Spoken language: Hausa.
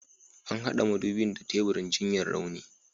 An hada madubin da teburin jinyar rauni.